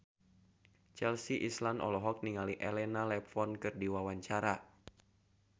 Chelsea Islan olohok ningali Elena Levon keur diwawancara